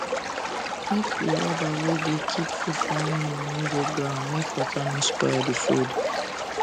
make d rubber wey u da keep food for animal no da ground make water no spoil d food